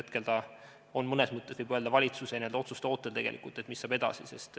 Hetkel on see mõnes mõttes valitsuse otsuste ootel, mis saab edasi.